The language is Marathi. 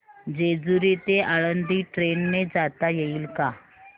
जेजूरी ते आळंदी ट्रेन ने जाता येईल का